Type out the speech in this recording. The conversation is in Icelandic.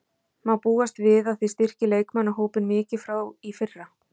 Má búast við að þið styrkið leikmannahópinn mikið frá í fyrra?